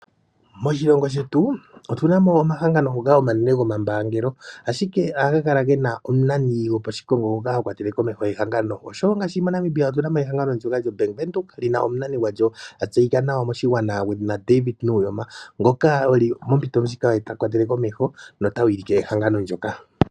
Moshilongo shetu otu na mo omahangano ngoka omanene goposhimbaangelo. Ohaga kala ge na omunani goposhikongo ngoka ha kwatele ehangano komeho. MoNamibia otu na mo ehangano ndyoka lyoBank Windhoek li na omunani gwalyo, a tseyika nawa moshigwana David Nuuyoma, ngoka oye mompito ndjika ta kwatele komeho nota wilike ehangano ndyoka.